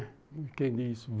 Não entendi isso.